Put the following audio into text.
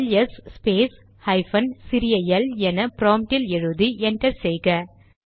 LS space hyphen சிறிய L என ப்ராம்ட்டில் எழுதி என்டர் செய்க